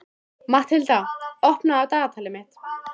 Matthilda, opnaðu dagatalið mitt.